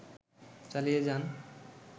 চালিয়ে যান